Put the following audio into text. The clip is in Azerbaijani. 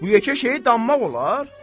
Bu yekə şeyi danmaq olar?